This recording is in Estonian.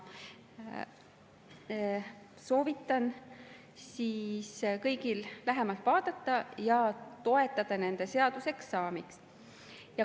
Soovitan kõigil lähemalt vaadata ja toetada nende seaduseks saamist.